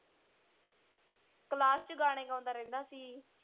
Class ਚ ਗਾਣੇ ਗਾਉਂਦਾ ਰਹਿੰਦਾ ਸੀ।